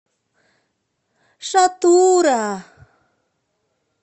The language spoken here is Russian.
шатура